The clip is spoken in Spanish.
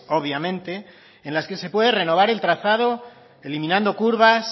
obviamente en las que se puede renovar el trazado eliminando curvas